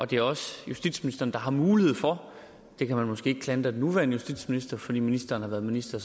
det er også justitsministeren der har mulighed for det kan man måske ikke klandre den nuværende justitsminister fordi ministeren har været minister